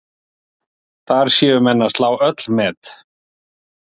Þar séu menn að slá öll met.